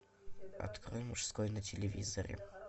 открой мужской на телевизоре